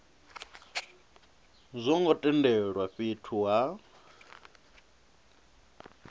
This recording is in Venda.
zwo ngo tendelwa fhethu ha